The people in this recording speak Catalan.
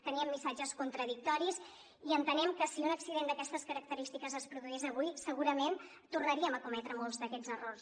teníem missatges contradictoris i entenem que si un accident d’aquestes característiques es produís avui segurament tornaríem a cometre molts d’aquests errors